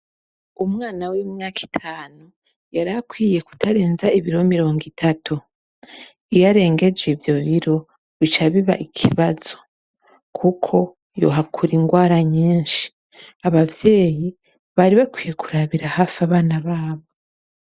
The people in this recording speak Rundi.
Umwna w'imyaka itanu, yari akwiye kutarenza ibiro mirongo itatu. Iyo arengeje ivyo biro, bica biba ikibazo kuko yohakura ingwara nyinshi. Abavyeyi bari bakwiye kurabira hafi abana babo.